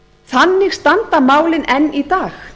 þannig standa málin enn í dag